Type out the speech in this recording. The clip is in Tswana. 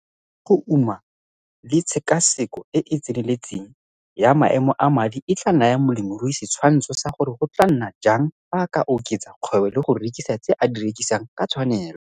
Dintlha tsa go uma le tshekaseko e e tseneletseng ya maemo a madi e tla naya molemirui setshwantsho sa gore go tla nna jang fa a oketsa kgwebo le go rekisa tse a di rekisang ka tshwanelo.